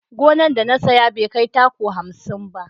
Gona da na saya bai kai taku hamsin ba